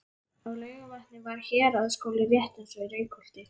Á Laugarvatni var héraðsskóli rétt eins og í Reykholti.